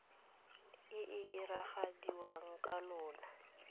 e e diragadiwa ka lona